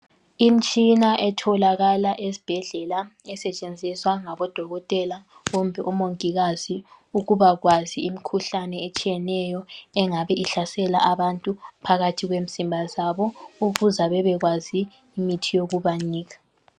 Imtshina etholakala esbhedlela esetshenziswa ngabodokotela kumbe omongikazi ukubakwazi imhkuhlane etshiyeneyo engabe ihlasela abantu phakathi kwemzimba zabo ukuza bebekwazi imithi yokubanika.